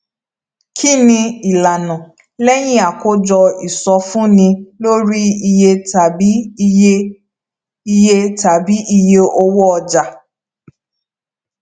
kí ni ìlànà lẹyìn àkójọ ìsọfúnni lórí iye tàbí iye iye tàbí iye owó ọjà